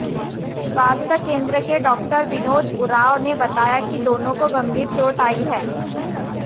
स्वास्थ्य केन्द्र के डॉक्टर विनोद उरांव ने बताया कि दोनों को गंभीर चोट आई है